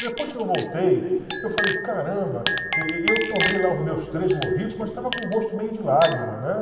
Depois que eu voltei, eu falei, caramba, e e eu tomei lá os meus três mojitos, mas estava com gosto meio de lágrima, né?